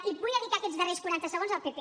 i vull dedicar aquests darrers quaranta segons al pp